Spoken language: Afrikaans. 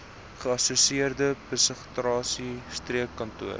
geassosieerde psigiatriese streekkantoor